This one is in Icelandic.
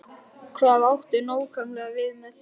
Hvað áttu nákvæmlega við með því?